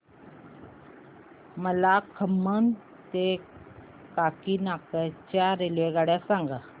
मला खम्मम ते काकीनाडा च्या रेल्वेगाड्या सांगा